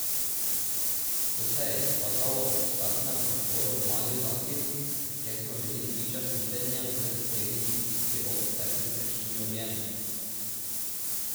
To se je izkazalo ob startnem prostoru v Mali Zaki, kjer smo bili priča snidenjem z iskrenimi stiski rok ter prisrčnimi objemi.